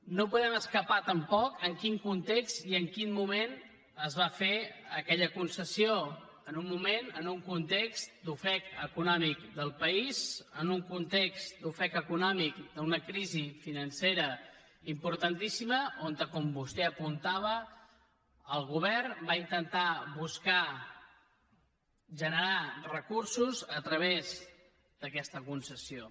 no podem escapar tampoc en quin context i en quin moment es va fer aquella concessió en un moment en un context d’ofec econòmic del país en un context d’ofec econòmic d’una crisi financera importantíssima on com vostè apuntava el govern va intentar generar recursos a través d’aquesta concessió